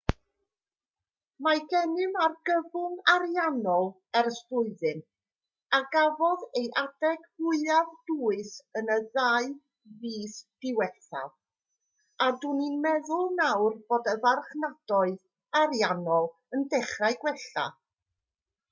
mae gennym argyfwng ariannol ers blwyddyn a gafodd ei adeg fwyaf dwys yn y ddau fis diwethaf a dw i'n meddwl nawr bod y marchnadoedd ariannol yn dechrau gwella